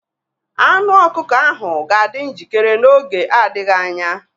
Anụ ọkụkọ ahụ ga-adị njikere n'oge adịghị anya.